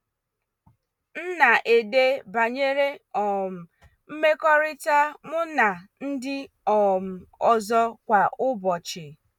M na-ede banyere um mmekọrịta mụ na ndị um ọzọ kwa ụbọchị.